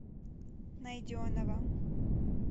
найденова